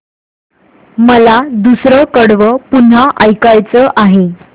मला दुसरं कडवं पुन्हा ऐकायचं आहे